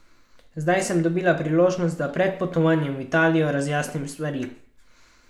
Zdaj sem dobila priložnost, da pred potovanjem v Italijo razjasnim stvari.